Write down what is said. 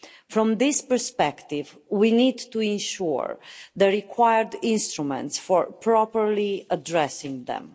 From this perspective, we need to ensure the required instruments for properly addressing them.